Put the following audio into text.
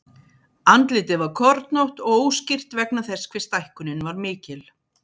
Andlitið var kornótt og óskýrt vegna þess hve stækkunin var mikil.